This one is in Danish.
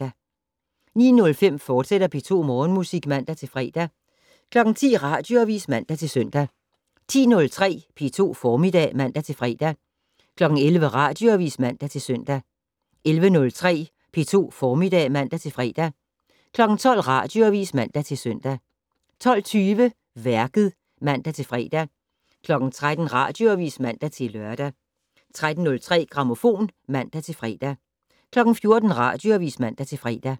09:05: P2 Morgenmusik, fortsat (man-fre) 10:00: Radioavis (man-søn) 10:03: P2 Formiddag (man-fre) 11:00: Radioavis (man-søn) 11:03: P2 Formiddag (man-fre) 12:00: Radioavis (man-søn) 12:20: Værket (man-fre) 13:00: Radioavis (man-lør) 13:03: Grammofon (man-fre) 14:00: Radioavis (man-fre)